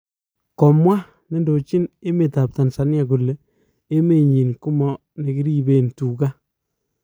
Komwa nedoji emet ap tanzania kole emenyi koma nekirisen tugan